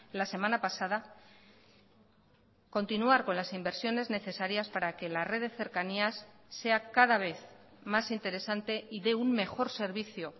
la semana pasada continuar con las inversiones necesarias para que la red de cercanías sea cada vez más interesante y dé un mejor servicio